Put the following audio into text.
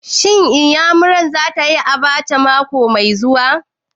Shin Iyamurar za ta yi abacha mako mai zuwa?